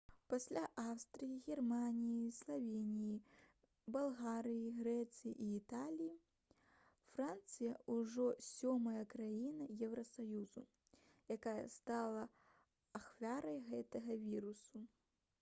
пасля аўстрыі германіі славеніі балгарыі грэцыі і італіі францыя ужо сёмая краіна еўрасаюзу якая стала ахвярай гэтага віруса